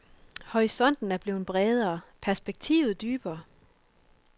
Horisonten er blevet bredere, perspektivet dybere.